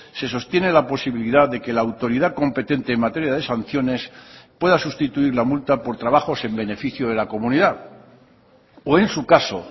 se sostiene la posibilidad de que la autoridad competente en materia de sanciones pueda sustituir la multa por trabajos en beneficio de la comunidad o en su caso